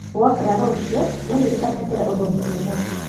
Wokĩra rũciũ wĩririkanie kĩrĩa ũthomire ũmũthĩ